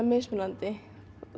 mismunandi